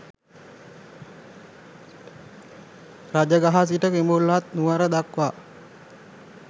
රජගහ සිට කිඹුල්වත් නුවර දක්වා